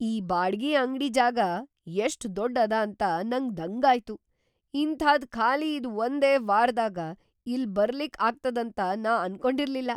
ಈ ಬಾಡ್ಗಿ ಅಂಗ್ಡಿ ಜಾಗಾ ಎಷ್ಟ್‌ ದೊಡ್ದ್‌ ಅದ ಅಂತ ನಂಗ ದಂಗಾಯ್ತು. ಇಂಥಾದ್ ಖಾಲಿ ಇದ್ ಒಂದೇ ವಾರ್‌ದಾಗ್ ಇಲ್ ಬರ್ಲಿಕ್ಕ್‌ ಆಗ್ತದಂತ ನಾ ಅನ್ಕೊಂಡಿರ್ಲಿಲ್ಲಾ.